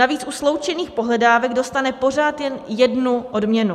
Navíc u sloučených pohledávek dostane pořád jen jednu odměnu.